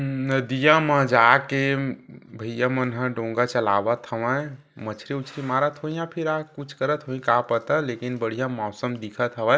नदियाँ म जाके भैया मन ह डोंगा चलावथ हवय मछरी उछरी मारथ होही या फिर आ कुछ करथ होही का पता लेकिन बढ़ियाँ मौसम दिखत हवय।